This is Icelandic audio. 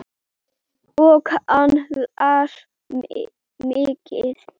Og hann las mikið.